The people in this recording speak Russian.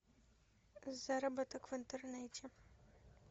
заработок в интернете